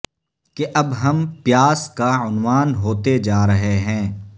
کہ اب ہم پیاس کا عنوان ہوتے جا رہے ہیں